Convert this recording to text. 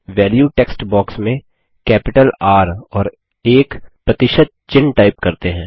value text box में capital R और एक प्रतिशत चिन्ह टाइप करते हैं